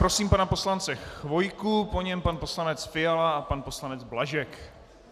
Prosím pana poslance Chvojku, po něm pan poslanec Fiala a pan poslanec Blažek.